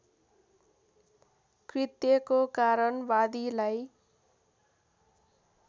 कृत्यको कारण वादीलाई